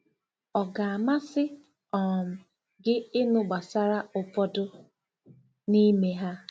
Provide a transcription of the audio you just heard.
Ọ ga-amasị um gị ịnụ gbasara ụfọdụ n'ime ha?